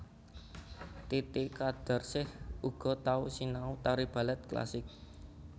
Titi Qadarsih uga tau sinau tari balèt klasik